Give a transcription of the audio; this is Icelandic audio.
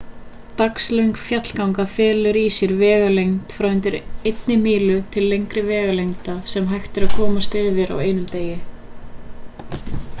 dagslöng fjallganga felur í sér vegalengd frá undir einni mílu til lengri vegalengda sem hægt er að komast yfir á einum degi